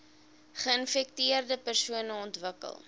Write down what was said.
geinfekteerde persone ontwikkel